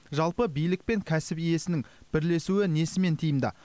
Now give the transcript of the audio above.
жалпы билік пен кәсіп иесінің бірлесуі несімен тиімді